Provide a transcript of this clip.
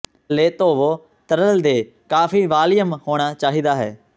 ਥੱਲੇ ਧੋਵੋ ਤਰਲ ਦੇ ਕਾਫੀ ਵਾਲੀਅਮ ਹੋਣਾ ਚਾਹੀਦਾ ਹੈ